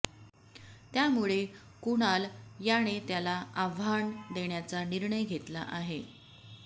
त्यामुळे कुणाल याने त्याला आव्हान देण्याचा निर्णय घेतला आहे